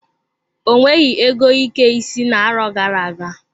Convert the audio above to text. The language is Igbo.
O nweghị ego ike isi owu na-arọ gara-aga.